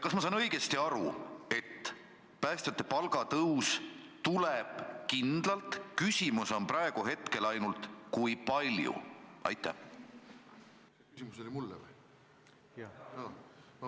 Kas ma saan õigesti aru, et päästjate palgatõus tuleb kindlalt, küsimus on praegu ainult selles, kui palju?